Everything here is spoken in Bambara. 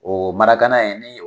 O in ye